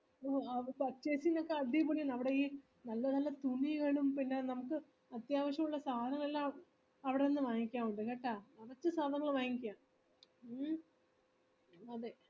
ഓ purchasing ഒക്കെ അടിപൊളിയാണ് അവിടെ ഈ നല്ല നല്ല തുണികാണും പിന്നെ നമുക്ക് അത്യാവശ്യോള്ള സാധനങ്ങളല്ലാം അവിടെ നിന്ന് വാങ്ങിക്കാഉണ്ട് കേട്ട മനസ്സി തോന്നുന്നത് വാങ്ങിക്കാം മ്മ് അതെ